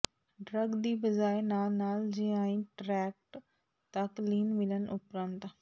drug ਦੀ ਬਜਾਏ ਨਾਲ ਨਾਲ ਜੀਆਈ ਟ੍ਰੈਕਟ ਤੱਕ ਲੀਨ ਮਿਲਣ ਉਪਰੰਤ